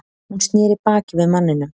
Hún sneri baki við manninum.